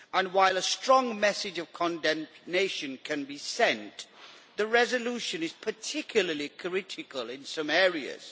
While a strong message of condemnation can be sent, the resolution is particularly critical in some areas.